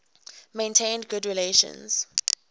maintained good relations